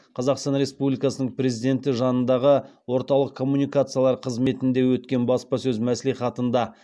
қазақстан республикасының президенті жанындағы орталық коммуникациялар қызметінде өткен баспасөз мәслихатында